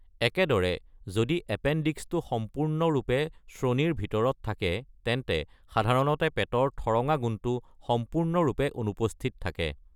একেদৰে, যদি এপেণ্ডিক্সটো সম্পূৰ্ণৰূপে শ্ৰোণিৰ ভিতৰত থাকে, তেন্তে সাধাৰণতে পেটৰ ঠৰঙা গুণটো সম্পূৰ্ণৰূপে অনুপস্থিত থাকে।